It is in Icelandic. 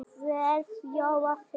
verð Jóa Fel.